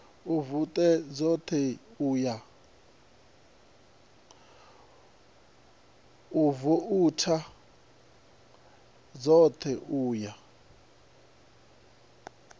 u vouta dzoṱhe u ya